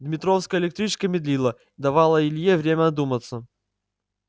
дмитровская электричка медлила давала илье время одуматься